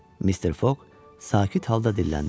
Mister Foq sakit halda dilləndi.